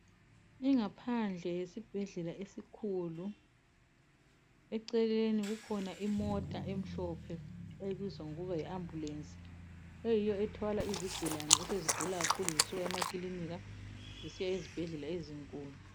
Ingaphandle yesibhedlela esikhulu eceleni kukhona imota emhlophe ebizwa ngokuba yi ambulence eyiyo ethwala izigulane esezigula kakhulu zisuka emakilinika zisiya ezibhedlela ezinkulu.